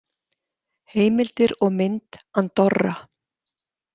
Heimildir og mynd Andorra.